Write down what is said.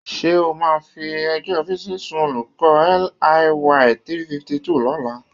Ṣé o máa fi ẹjọ́ Bísí sun olùkọ́ LIY 352 lọ́la?